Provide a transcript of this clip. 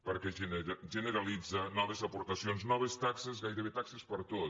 perquè generalitza noves aportacions noves taxes gairebé taxes per a tot